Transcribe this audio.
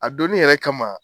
A donin yɛrɛ kama